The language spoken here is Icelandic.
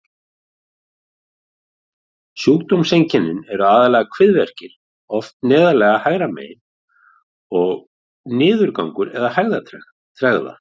Sjúkdómseinkennin eru aðallega kviðverkir, oft neðarlega hægra megin, og niðurgangur eða hægðatregða.